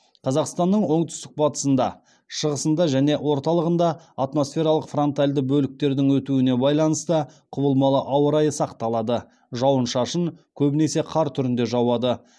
қазақстанның оңтүстік батысында шығысыңда және орталығында атмосфералық фронтальды бөліктердің өтуіне байланысты құбылмалы ауа райы сақталады жауын шашын көбінесе қар түрінде жауады